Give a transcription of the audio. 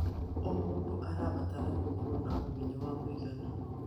O mũndũ arabatara gũkorwo na ũmenyo wa kũigana.